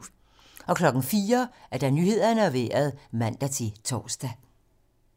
04:00: Nyhederne og Vejret (man-tor)